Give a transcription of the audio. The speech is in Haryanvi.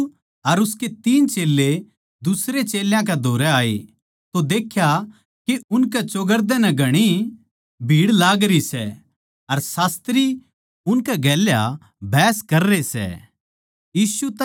यीशु अर उसके तीन चेल्लें दुसरयां चेल्यां कै धोरै आये तो देख्या के उनकै चौगरदे नै घणी भीड़ लागरी सै अर शास्त्री उनकै गेल्या बहस कररे सै